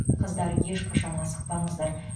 қыздар ешқашан асықпаңыздар